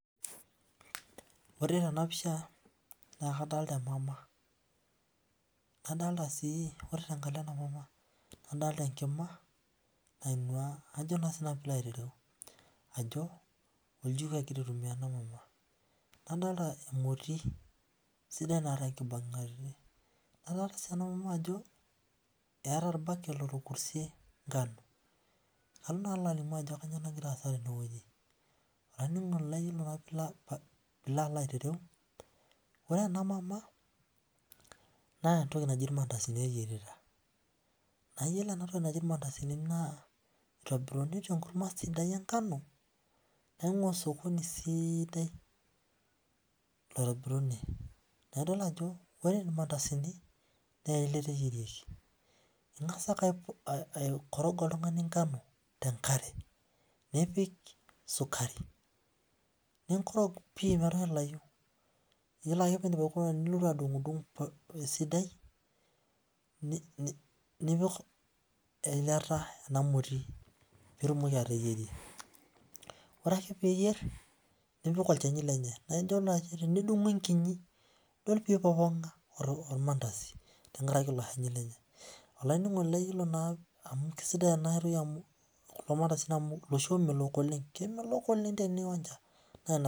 ore tena pisha na kadolta emama, nadolta si ore tenkalo ena mama na nadolta enkima naingua ajo na sinanu lairereu ajo oljiko engira atumia ena mama nadolta emoti sidai naata enkibungati nadol si nemmama ajo eta olbaket